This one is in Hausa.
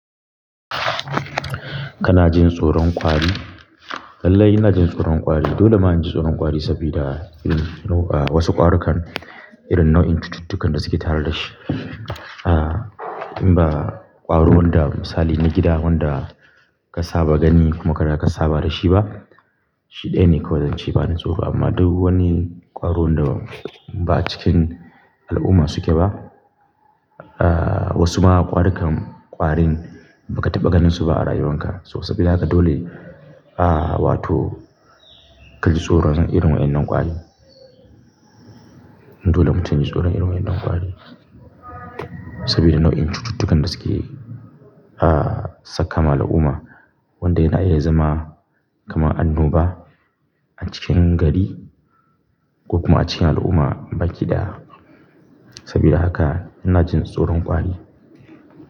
Kana jin tsoron ƙwari? Lallai ina jin tsoron ƙwari. Dole ma in ji tsoron ƙwari sabida eh no ah wasu ƙwarukan irin nau'in cututtukan da suke tara dashi ah. Inba ƙwaro wanda misali na gida wanda ka saba gani kuma ka riga ka saba da shi ba, shi ɗaya ne kawai zan ce ba ni tsoro. Amma duk wani ƙwaro wanda ba cikin al'umma suke ba, aa wasu ma ƙwarukan ƙwarin baka taɓa ganinsu ba a rayuwanka. So sabida haka dole, aa wato ka ji tsoron irin waɗannan ƙwari. Dole mutum yaji tsoron irin waɗannan ƙwarin sabida nau'in cututtukan da suke ah saka ma al'umma wanda yana iya zama kaman annoba a cikin gari ko kuma a cikin al'umma baki ɗaya. Saboda haka ina jin tsoron ƙwari.